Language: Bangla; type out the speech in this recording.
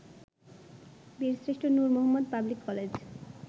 Birshreshtha Noor Mohammad public college